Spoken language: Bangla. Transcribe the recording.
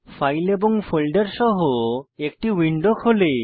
ফাইল এবং ফোল্ডার সহ একটি উইন্ডো খোলে